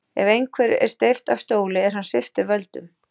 Ef einhverjum er steypt af stóli er hann sviptur völdum.